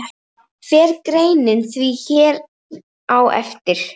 Fer greinin því hér á eftir.